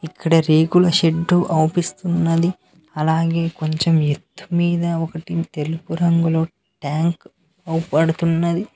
ఇక్కడ రేకుల షెడ్డు అవుపిస్తున్నది అలాగే కొంచెం ఎత్తు మీద ఒకటి తెలుపు రంగులో ట్యాంక్ అవుపడుతున్నది.